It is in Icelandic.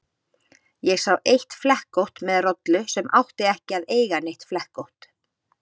Ég sá eitt flekkótt með rollu sem átti ekki að eiga neitt flekkótt.